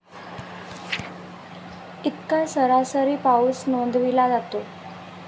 इतका सरासरी पाऊस नोंदविला जातो.